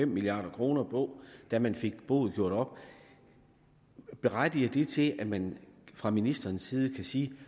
milliard kroner på da man fik boet gjort op berettiger det til at man fra ministerens side kan sige